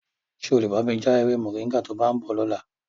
Ṣé o lè bá mi ja ewé Moringa to bá ń bọ̀ lọ́la?